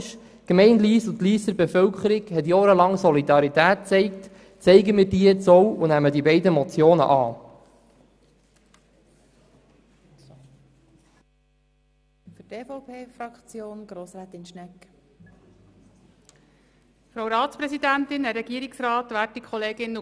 Die Gemeinde Lyss und die Lysser Bevölkerung haben jahrelang Solidarität gezeigt, zeigen wir diese jetzt auch und nehmen wir die beiden Motionen an.